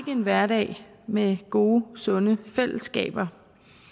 en hverdag med gode sunde fællesskaber